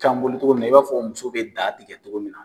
K'an bolitogo min na i n'a fɔ muso bɛ da tigɛ togo min na.